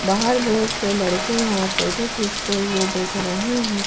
बाहर बहुत से लड़के यहां फोटो खींचते हुए दिख रहे हैं।